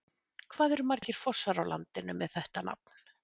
Hvað eru margir fossar á landinu með þetta nafn?